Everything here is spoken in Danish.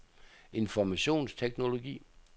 informationsteknologi